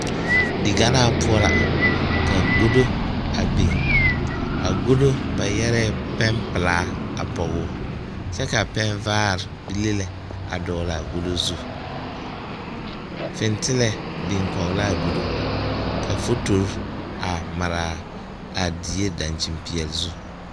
Diganaa poɔ la ka gado a biŋ a gado ba yɛre pɛne pelaa a pɔge o kyɛ ka pɛne vaare bile dɔgle a gado zu fentelɛɛ biŋ kɔge ka a gado ka fotori a mare a die dakyini peɛle zuzu.